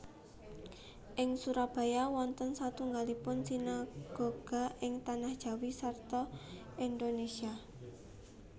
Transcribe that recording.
Ing Surabaya wonten satunggilipun sinagoga ing Tanah Jawi sarta Indonesia